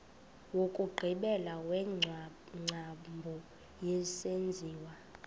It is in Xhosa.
wokugqibela wengcambu yesenziwa